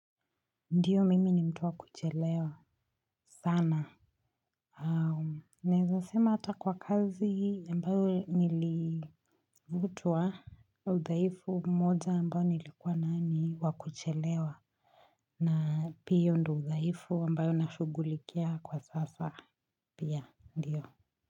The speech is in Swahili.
Ndiyo mimi ni mtuwa kuchelewa sana au naeza sema hata kwa kazi ambayo nilivutwa. Udhaifu moja ambayo nilikuwa nao ni wakuchelewa na hio ndo udhaifu ambayo nashugulikia kwa sasa pia ndiyo.